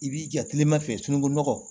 I b'i ja tilema fɛ sunukunɔgɔ